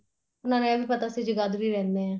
ਉਹਨਾ ਨੂੰ ਵੀ ਇਹ ਵੀ ਪਤਾ ਸੀ ਜਗਾਦਰੀ ਰਹਿੰਦੇ ਏ